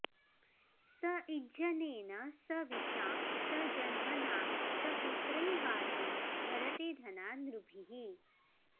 स इज्जनेन स विशा स जन्मना स पुत्रैर्वाजं भरते धना नृभिः